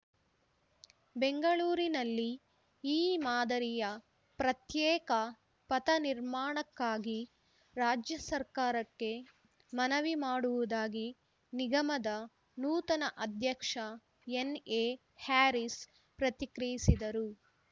ಬೆಂಗಳೂರಿನಲ್ಲಿ ಈ ಮಾದರಿಯ ಪ್ರತ್ಯೇಕ ಪಥ ನಿರ್ಮಾಣಕ್ಕಾಗಿ ರಾಜ್ಯ ಸರ್ಕಾರಕ್ಕೆ ಮನವಿ ಮಾಡುವುದಾಗಿ ನಿಗಮದ ನೂತನ ಅಧ್ಯಕ್ಷ ಎನ್‌ಎಹ್ಯಾರಿಸ್‌ ಪ್ರತಿಕ್ರಿಯಿಸಿದರು